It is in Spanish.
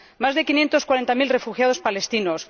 más de 540000 refugiados palestinos